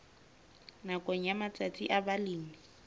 nakong ya matsatsi a balemi